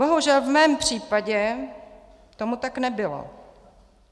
Bohužel, v mém případě tomu tak nebylo.